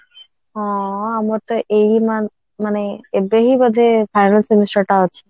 ହଁ ହଁ ଆମର ତ ଏଇ ମାନେ ଏବେ ହିଁ ବୋଧେ final semester ଟା ଅଛି